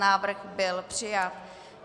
Návrh byl přijat.